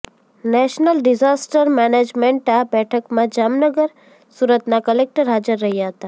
national disaster management આ બેઠકમાં જામનગર સુરતના કલેકટર હાજર રહ્યા હતા